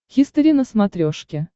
хистори на смотрешке